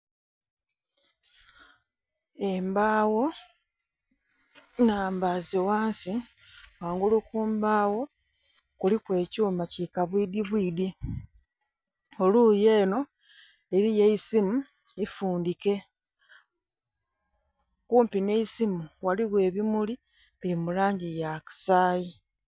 Embawo nnhambaaze ghansi ghangulu ku mbawo kuliku ekyuma kikabwidhi bwidhi. Eluyi eno eliyo eisimu ifundhike, kumpi n'eisimu ghaligho ebimuli bili mu langi eya kasaayi.